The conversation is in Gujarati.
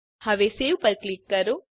હવે સવે પર ક્લિક કરો